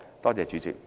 多謝主席。